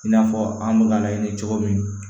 I n'a fɔ an bɛ ka laɲini cogo min